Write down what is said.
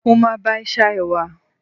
mo ma ba e sa ewa